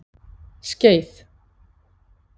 Skeið